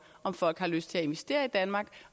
om folk har lyst til at investere i danmark